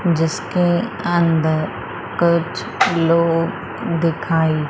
जिसके अंदर कुछ लोग दिखाई--